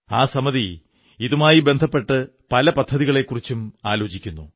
ആ സമിതി ഇതുമായി ബന്ധപ്പെട്ട് പല പദ്ധതികളെക്കുറിച്ചും ആലോചിക്കുന്നു